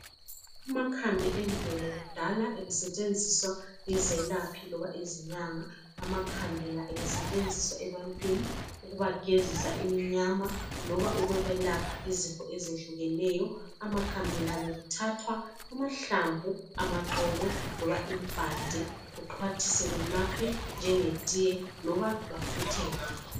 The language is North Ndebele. Amakhambi emvelo kudala ebesetshenziswa yizelaphi loba izinyanga. Amakhambi la ebesetshenziswa ebantwini ukubagezisa iminyama, loba ukwebelapha izifo ezehlukeneyo. Amakhambi la bekuthathwa amahlamvu, amaxolo loba impande, kuxhwathiswe kunathwe njengetiye loba bafuthe ngakho.